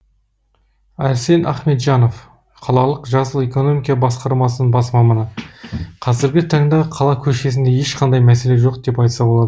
әрсен ахметжанов қалалық жасыл экономика басқармасының бас маманы қазіргі таңда қала көшесінде ешқандай мәселе жоқ деп айтса болады